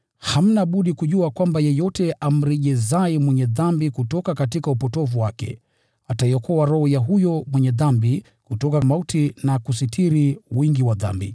hamna budi kujua kwamba yeyote amrejezaye mwenye dhambi kutoka upotovu wake, ataiokoa roho ya huyo mwenye dhambi kutoka mauti na kusitiri wingi wa dhambi.